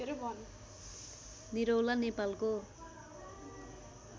निरौला नेपालको